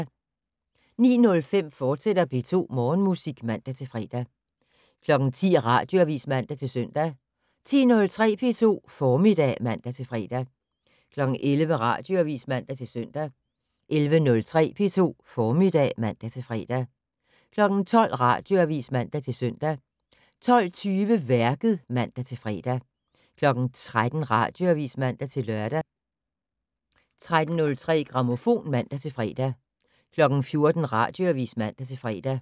09:05: P2 Morgenmusik, fortsat (man-fre) 10:00: Radioavis (man-søn) 10:03: P2 Formiddag (man-fre) 11:00: Radioavis (man-søn) 11:03: P2 Formiddag (man-fre) 12:00: Radioavis (man-søn) 12:20: Værket (man-fre) 13:00: Radioavis (man-lør) 13:03: Grammofon (man-fre) 14:00: Radioavis (man-fre)